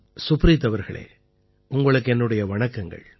சுப்ரீத் அவர்களே உங்களுக்கு என்னுடைய வணக்கங்கள்